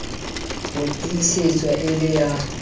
ho tiisetswa e le ya